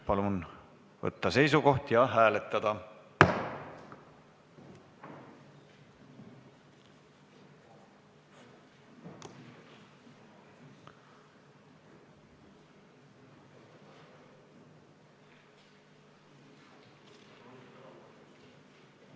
Palun võtta seisukoht ja hääletada!